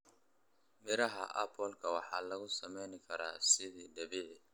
Miraha apple waxaa lagu sameyn karaa siki dabiici.